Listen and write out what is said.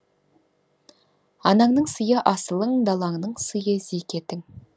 анаңның сыйы асылың далаңның сыйы зекетің